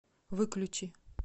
выключи